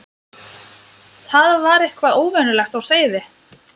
Það var eitthvað óvenjulegt á seyði.